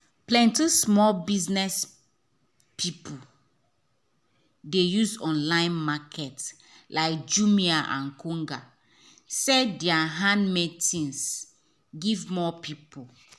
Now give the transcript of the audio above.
plenty small biz people dey use online market like jumia and konga sell their handmade tins give more people.